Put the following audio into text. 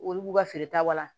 Olu b'u ka feere ta wa